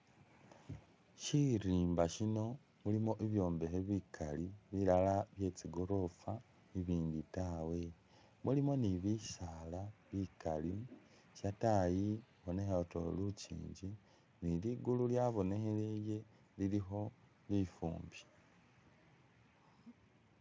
Shirimba shino mulimo i'byobekhe bikali, bilala byetsigorofa ibindi taawe, mulimo ni bisaala bikaali, shatayi i'bonekha utuyori lukinji ni ligulu lyabokheleye lilikho lifumbi